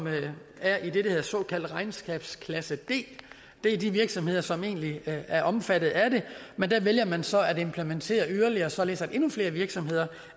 er i den såkaldte regnskabsklasse d det er de virksomheder som egentlig er omfattet af det men der vælger man så at implementere yderligere således at endnu flere virksomheder